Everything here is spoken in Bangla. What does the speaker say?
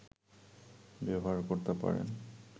ব্যবহার করতে পারেন